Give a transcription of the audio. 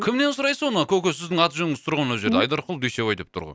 кімнен сұрайсыз оны көке сіздің аты жөніңіз тұр ғой мына жерде айдарқұл дүйсебай деп тұр ғой